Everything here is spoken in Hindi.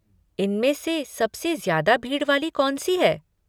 इनमें से सबसे ज़्यादा भीड़ वाली कौनसी है?